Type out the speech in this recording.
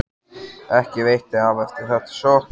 Ekki veitti af eftir þetta sjokk.